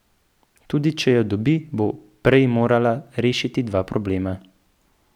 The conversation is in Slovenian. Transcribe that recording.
Tudi če jo dobi, bo prej morala rešiti dva problema.